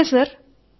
నమస్తే జి